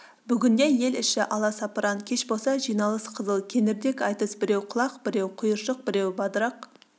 бүгінде ел іші аласапыран кеш болса жиналыс қызыл кеңірдек айтыс біреу құлақ біреу құйыршық біреу бадырақ